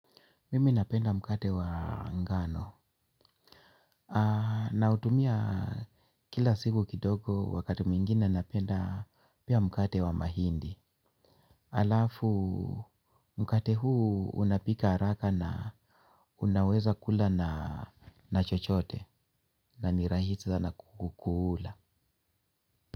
Mimi napenda mkate wa ngano. Nautumia kila siku kidogo wakati mwingine napenda pia mkate wa mahindi. Alafu mkate huu unapika araka na unaweza kula na chochote na nirahisi sana kukukula.